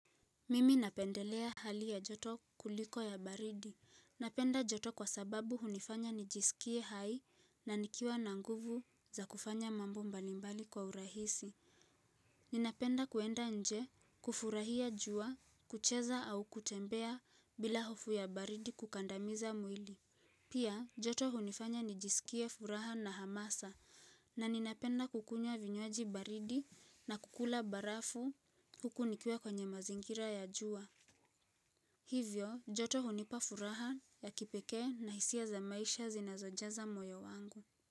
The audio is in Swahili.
Mimi napendelea hali ya joto kuliko ya baridi. Napenda joto kwa sababu hunifanya nijisikie hai na nikiwa na nguvu za kufanya mambo mbalimbali kwa urahisi. Ninapenda kuenda nje kufurahia jua, kucheza au kutembea bila hofu ya baridi kukandamiza mwili. Pia, joto hunifanya nijisikie furaha na hamasa na ninapenda kukunywa vinywaji baridi na kukula barafu huku nikiwa kwenye mazingira ya jua. Hivyo, joto hunipa furaha ya kipekee na hisia za maisha zinazojaza moyo wangu.